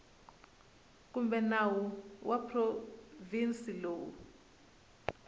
kumbe nawu wa provhinsi lowu